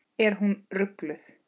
Er hún rugluð?